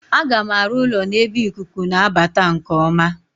Aga m arụ ụlọ n'ebe ikuku na-abata nke ọma.